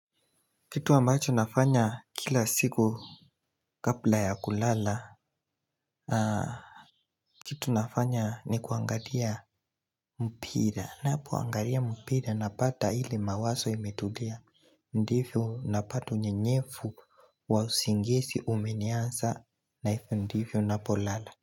Kitu ambacho nafanya kila siku kabla ya kulala kitu nafanya ni kuangalia mpira ninapoangalia mpira na pata ile mawazo imetulia ndivyo na pato nye nyefu wa usingizi umenianza na hivyo ndivyo napolala.